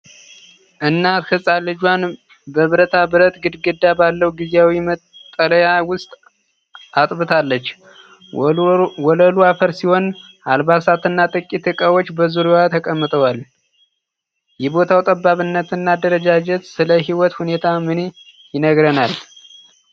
እናት ህጻን ልጇን በብረታ ብረት ግድግዳ ባለው ጊዜያዊ መጠለያ ውስጥ አጥብታለች። ወለሉ አፈር ሲሆን፣ አልባሳት እና ጥቂት ዕቃዎች በዙሪያዋ ተቀምጠዋል። የቦታው ጠባብነት እና አደረጃጀት ስለ የህይወት ሁኔታ ምን ይነግረናል?